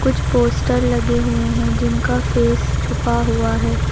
कुछ पोस्टर लगे हुए है जिनका फेस छुपा हुआ है।